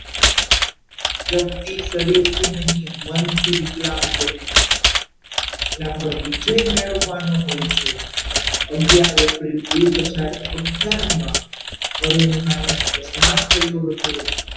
વ્યક્તિ શરીરથી નહીં મનથી વિકલાંગ બને છે એના પર વિજય મેળવવાનો હોય છે અગિયાર એપ્રિલ બે હજાર અગિયાર ના અરુણિમાને અકસ્માત થયો હતો.